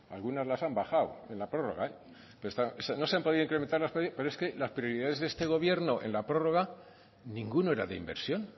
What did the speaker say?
algunas las han bajado en la prórroga no se han podido incrementar las partidas pero es que las prioridades de este gobierno en la prórroga ninguno era de inversión